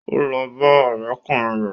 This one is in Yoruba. Ó lọ bá ọ̀rẹ́kùnrin rẹ̀